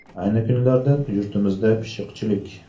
Ayni kunlarda yurtimizda pishiqchilik.